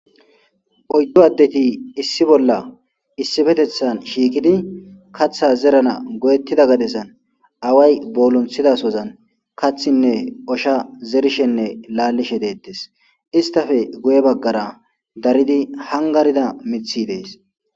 oyddu addeti issi bolla issifetethan shiiqidi katha zerana go7ettida gadezan away boolonthidasozan kathinne osha zerishenne laallishe deettes istafe guye baggara daridi hangarida mithi dees.